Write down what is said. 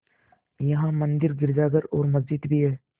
यहाँ मंदिर गिरजाघर और मस्जिद भी हैं